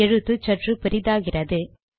எழுத்து சற்று பெரிதாகிறது